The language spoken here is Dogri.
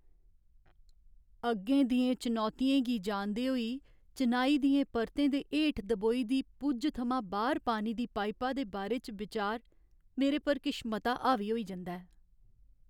अग्गें दियें चुनौतियें गी जानदे होई, चिनाई दियें परतें दे हेठ दबोई दी पुज्ज थमां बाह्‌र पानी दी पाइपा दे बारे च बिचार मेरे पर किश मता हावी होई जंदा ऐ।